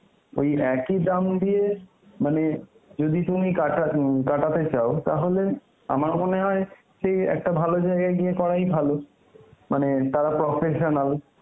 ওই একই দাম দিয়ে মানে যদি তুমি কাটা উম কাটাতে চাও তাহলে আমার মনে হয় সেই একটা ভালো জায়গায় গিয়ে করাই ভালো মানে তারা professional.